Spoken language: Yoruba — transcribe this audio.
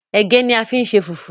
Ẹ̀gẹ́ ni wọ́n á fi ṣe fùfú